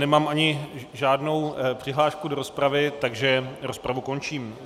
Nemám ani žádnou přihlášku do rozpravy, takže rozpravu končím.